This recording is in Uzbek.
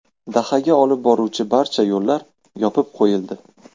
Dahaga olib boruvchi barcha yo‘llar yopib qo‘yildi.